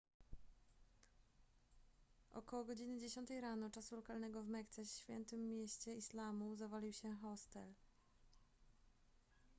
około godziny dziesiątej rano czasu lokalnego w mekce świętym mieście islamu zawalił się hostel